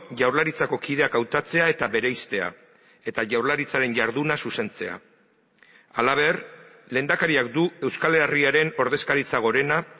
jaurlaritzako kideak hautatzea eta bereiztea eta jaurlaritzaren jarduna zuzentzea halaber lehendakariak du euskal herriaren ordezkaritza gorena